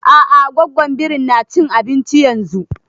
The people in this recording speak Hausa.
A'a gwaggon birin na cin abinci yanzun